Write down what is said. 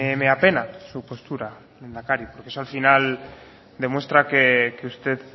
me apena su postura lehendakari porque eso al final demuestra que usted